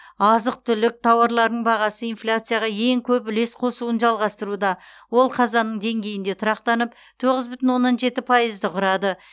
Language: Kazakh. азық түлік тауарларының бағасы инфляцияға ең көп үлес қосуын жалғастыруда ол қазанның деңгейінде тұрақтанып тоғыз бүтін оннан жеті пайызды құрады